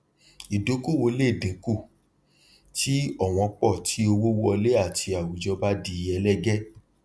ìdókòwò le dín kù tí ọwọn pọ tí owó wọlé àti àwùjọ bá di ẹlẹgẹ